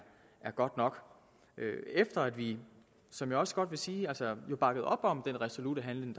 godt nok efter at vi som jeg også godt vil sige bakkede op om den resolutte handling